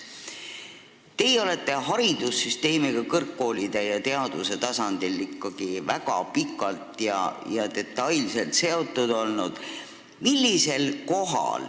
Teie olete haridussüsteemiga kõrgkoolide ja teaduse tasandil väga pikalt ja detailselt seotud olnud.